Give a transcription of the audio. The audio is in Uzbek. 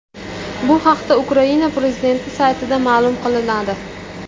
Bu haqda Ukraina prezidenti saytida ma’lum qilinadi .